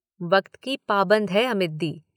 वक्त की पाबंद हैं अमित दी।